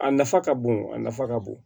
A nafa ka bon a nafa ka bon